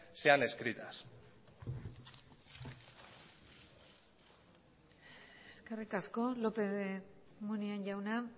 sean escritas eskerrik asko lópez de munain jauna